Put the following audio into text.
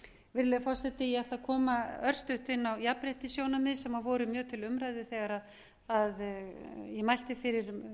virðulegi forseti ég ætla að koma örstutt inn á jafnréttissjónarmið sem voru mjög til umræðu þegar ég mælti fyrir